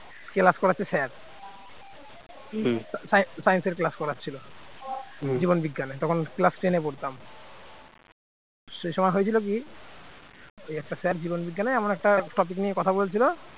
class করাচ্ছে sir science এর class করাচ্ছিল জীবন বিজ্ঞানে তখন class ten পড়তাম। সেই সময় হয়েছিল কি ওই একটা sir জীবন বিজ্ঞানে আমরা একটা topic নিয়ে কথা বলছিল